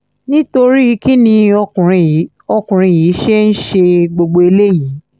nítorí kín ni ọkùnrin yìí ọkùnrin yìí ṣe ń ṣe gbogbo eléyìí